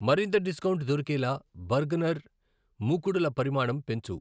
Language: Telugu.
మరింత డిస్కౌంట్ దొరికేలా బర్గనర్ మూకుడుల పరిమాణం పెంచు.